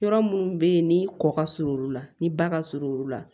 Yɔrɔ minnu bɛ yen ni kɔ ka surun olu la ni ba ka surun olu la